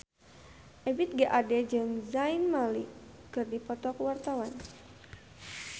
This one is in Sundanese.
Ebith G. Ade jeung Zayn Malik keur dipoto ku wartawan